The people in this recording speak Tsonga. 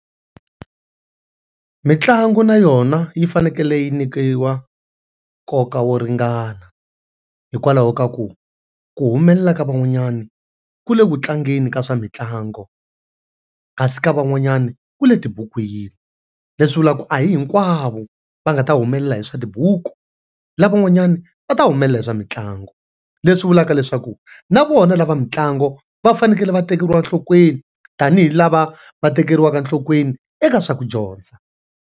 Mitlangu na yona yi fanekele yi nyikiwa nkoka wo ringana hikwalaho ka ku, ku humelela ka van'wanyani ku le ku tlangeni ka swa mitlangu kasi ka van'wanyani ku le tibukwini. Leswi vulaka ku a hi hinkwavo va nga ta humelela hi swa tibuku, lava van'wanyani vu ta humelela hi swa mitlangu. Leswi vulaka leswaku na vona lava mitlangu va fanekele va tekeriwa enhlokweni tanihi lava va tekeriwa enhlokweni eka swa ku dyondza.